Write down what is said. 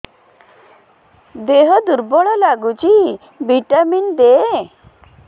ଦିହ ଦୁର୍ବଳ ଲାଗୁଛି ଭିଟାମିନ ଦେ